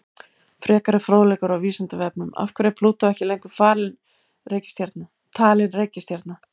Frekari fróðleikur á Vísindavefnum: Af hverju er Plútó ekki lengur talin reikistjarna?